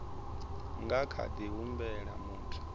nga kha ḓi humbela muthu